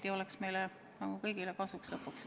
See oleks kokkuvõttes meile kõigile kasuks.